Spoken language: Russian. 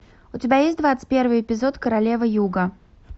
у тебя есть двадцать первый эпизод королева юга